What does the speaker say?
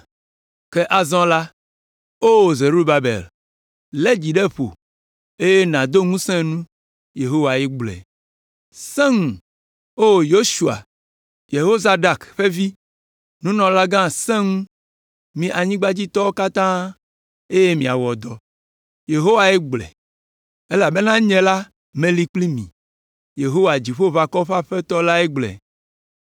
Ke azɔ la, Oo Zerubabel, lé dzi ɖe ƒo eye nàdo ŋusẽ nu’ Yehowae gblɔe. ‘Sẽ ŋu, Oo Yosua, Yehozadak ƒe avi, nunɔlagã, sẽ ŋu, mi anyigbadzitɔwo katã eye miawɔ dɔ.’ Yehowae gblɔe. ‘Elabena nye la meli kpli mi.’ Yehowa, Dziƒoʋakɔwo ƒe Aƒetɔ lae gblɔe.